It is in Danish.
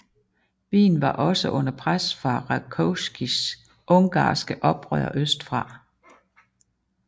Wien var også under pres fra Rákóczis ungarske oprør østfra